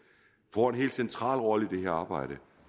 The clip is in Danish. får en helt central rolle i det her arbejde